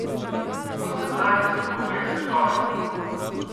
Kako se znajdete v obeh svetovih?